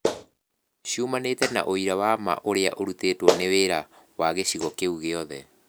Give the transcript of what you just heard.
Ciumanĩte na ũira wa ma ũrĩa ũrutĩtwo nĩ wĩra wa gĩcigo kĩu gĩothe.